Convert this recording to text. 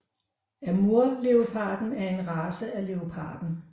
Amurleoparden er en race af leoparden